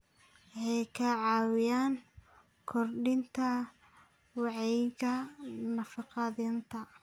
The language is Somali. Waxay ka caawiyaan kordhinta wacyiga nafaqeynta.